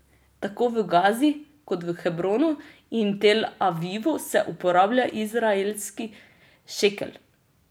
Tako v Gazi kot v Hebronu in Tel Avivu se uporablja izraelski šekel.